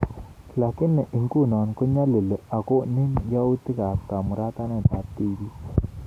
Lakini inguno kong'alali agono yautik ab kamauratanet ab tibiik